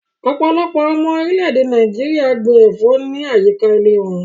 Ọpọlọpọ̀ awọn ọmọ orilẹ̀-èdè Nàìjíríà gbìn ẹ̀fọ̀ ni ayíkà ìlẹ̀ wọ̀n